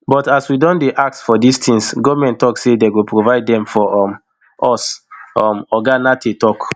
but as we don dey ask for dis tins goment tok say dey go provide dem for um us um oga nartey tok